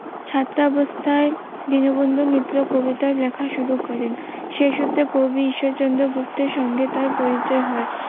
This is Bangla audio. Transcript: ছাত্রাবস্থায় দীনবন্ধু মিত্রের কবিতা লেখা শুরু করেন সেই সূত্রে কবি ঈশ্বর চন্দ্র গুপ্তের সাথে তার পরিচয় হয়।